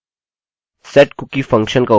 setcookie function का उपयोग करके ऐसा करते हैं